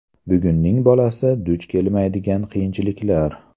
Bugunning bolasi duch kelmaydigan qiyinchiliklar .